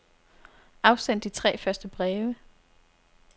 Afsend de tre første breve.